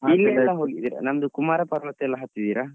ನಮ್ದು ಕುಮಾರ ಪರ್ವತ ಎಲ್ಲ ಹತ್ತಿದ್ದೀರಾ?